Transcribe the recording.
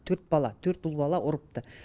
төрт бала төрт ұл бала ұрыпты